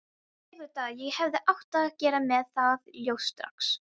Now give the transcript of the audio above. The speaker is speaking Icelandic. Auðvitað, ég hefði átt að gera mér það ljóst strax.